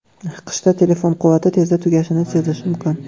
Qishda telefon quvvati tezda tugashini sezish mumkin.